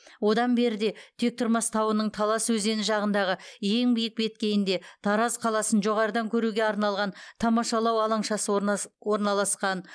одан беріде тектұрмас тауының талас өзені жағындағы ең биік беткейінде тараз қаласын жоғарыдан көруге арналған тамашалау алаңшасы орналасқан